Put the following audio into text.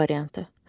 A variantı.